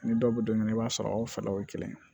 Ni dɔw bɛ don min na i b'a sɔrɔ aw fɛlaw ye kelen ye